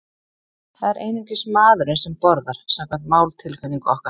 Það er einungis maðurinn sem borðar, samkvæmt máltilfinningu okkar.